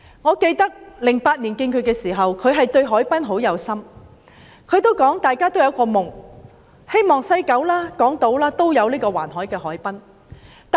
我記得在2008年與她會面時，她對海濱發展很有心，她還說大家也有一個夢，就是西九、港島也有一個環海的海濱。